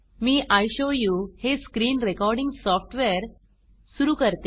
मी इशोवू हे screen recording software सुरू करते